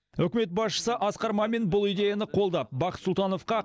үкімет басшысы асқар мамин бұл идеяны қолдап бақыт сұлтановқа